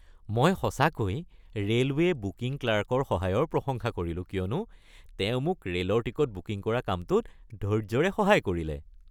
মই সঁচাকৈ railway booking ক্লাৰ্কৰ সহায়ৰ প্ৰশংসা কৰিলো কিয়নো তেওঁ মোক ৰে’লৰ টিকট বুকিং কৰা কামটোত ধৈৰ্য্যৰে সহায় কৰিলে।